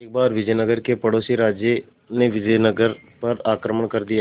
एक बार विजयनगर के पड़ोसी राज्य ने विजयनगर पर आक्रमण कर दिया